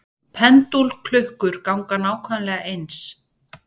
Pendúlklukkur ganga nákvæmlega eins.